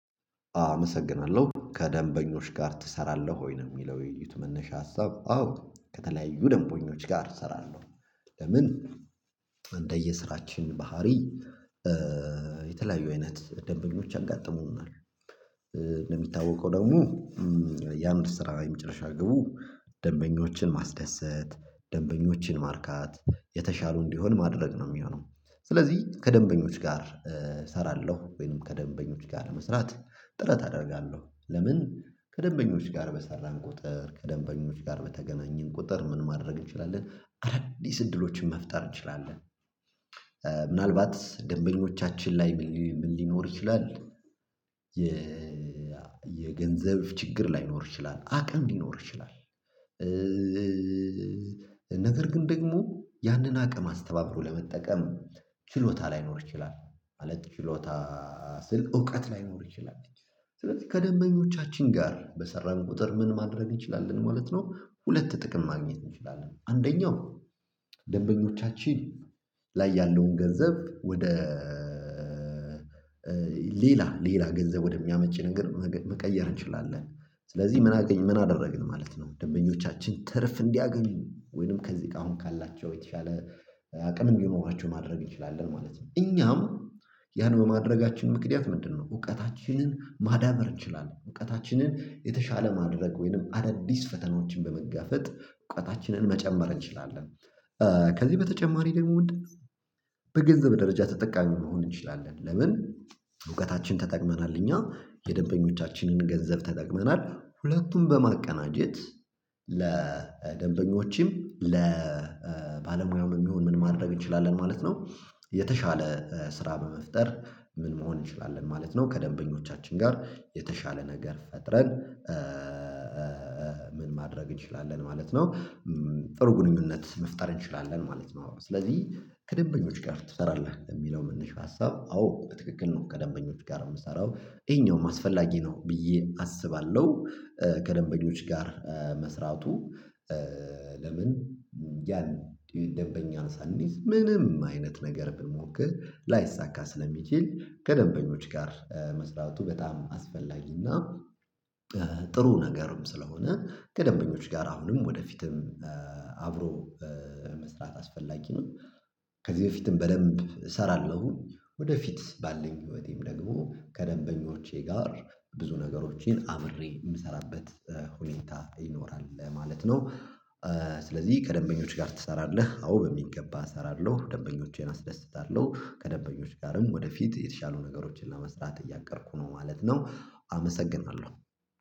አመሰግናለሁ ከደንበኞች ጋር ትሰራለህ ወይ ነው የሚለው የዩት? መነሻ ሀሳብ አዎ ከተለያዩ ደንበኞች ጋር እሰራለሁ። ለምን እንደየስራችን ባህሪ የተለያዩ አይነት ደንበኞች አጋጥሙናል። እንደሚታወቀው ደግሞ ያንን ስራ የመጨረሻ ግቡ ደንበኞችን ማስደሰት ደንበኞችን ማርካት የተሻሉ እንዲሆን ማድረግ ነው የሚሆነው። ስለዚህ ከደንበኞች ጋር እሰራለሁ ወይንም ከደንበኞች ጋር ለመስራት ጥረት አደርጋለሁ። ለምን ከደንበኞች ጋር በሰራን ቁጥር ከደንበኞች ጋር በተገናኘን ቁጥር ምን ማድረግ እንችላለን አዳዲስ እድሎችን መፍጠር እንችላለን። ምናልባት ደንበኞቻችን ላይ ምን ሊኖር ይችላል የ የገንዘብ ችግር ላይኖር ይችላል አቅም ሊኖር ይችላል። ነገር ግን ደግሞ ያንን አቅም አስተባብሮ ለመጠቀም ችሎታ ላይኖር ይችላል። ማለት ችሎታ ስልክ እውቀት ላይኖር ይችላል። ስለዚህ ከደንበኞቻችን ጋር በሰራን ቁጥር ምን ማድረግ እንችላለን ማለት ነው። ሁለት ጥቅም ማግኘት እንችላለን አንደኛው ደንበኞቻችን ላይ ያለውን ገንዘብ ወደ ሌላ ሌላ ገንዘብ ወደሚያመች ነገር መቀየር እንችላለን። ስለዚህ ምን አደረግን ማለት ነው ደንበኞቻችን ትርፍ እንዲያገኝ ወይንም ከዚህ ጋር አሁን ካላቸው የተሻለ አቅምም ቢሆን መሆናቸውን ማድረግ እንችላለን ማለት ነው። እኛም ያን በማድረጋችን ምክንያት ምንድነው? እውቀታችንን ማዳበር እንችላለን እውቀታችንን የተሻለ ማድረግ ወይንም አዳዲስ ፈተናዎችን በመጋፈጥ እውቀታችንን መጨመር እንችላለን። ከዚህ በተጨማሪ ደግሞ ምንድነው? በገንዘብ ደረጃ ተጠቃሚ መሆን እንችላለን። ለምን እውቀታችን ተጠቅመናል እኛ የደንበኞቻችንን ገንዘብ ተጠቅመናል ሁለቱም በማቀናጀት ለደንበኞችም ለባለሙያውም የሚሆን ምን ማድረግ እንችላለን ማለት ነው። የተሻለ ስራ በመፍጠር ምን መሆን እንችላለን ማለት ነው። ከደንበኞቻችን ጋር የተሻለ ነገር ፈጥረን ምን ማድረግ እንችላለን ማለት ነው። ጥሩ ግንኙነት መፍጠር እንችላለን ማለት ነው። ስለዚህ ከደንበኞች ጋር ትሰራለህ የሚለው መነሻ ሀሳብ? አዎ ትክክል ነው። ከደንበኞች ጋር የምሰራው ይሄኛውም አስፈላጊ ነው ብዬ አስባለሁ። ከደንበኞች ጋር መስራቱ ለምን ያን ደንበኛ ሳንይዝ ምንም አይነት ነገር ብንሞክር ላይሳካ ስለሚችል ከደንበኞች ጋር መስራቱ በጣም አስፈላጊና ጥሩ ነገርም ስለሆነ ከደንበኞች ጋር አሁንም ወደፊትም አብሮ መስራት አስፈላጊ ነው። ከዚህ በፊትም በደንብ እሰራለሁ ወደፊት ባለን ህይወቴም ደግሞ ከደንበኞቼ ጋር ብዙ ነገሮችን አብሬ የምሰራበት ሁኔታ ይኖራል ማለት ነው። ስለዚህ ከደንበኞች ጋር ትሰራለህ? አዎ በሚገባ እሰራለሁ ደንበኞቼን አስደስታለሁ ከደንበኞች ጋርም ወደፊት የተሻሉ ነገሮችን ለመስራት እያቀድኩ ነው ማለት ነው። አመሰግናለሁ